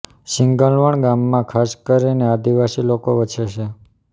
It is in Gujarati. સિંગલવણ ગામમાં ખાસ કરીને આદિવાસી લોકો વસે છે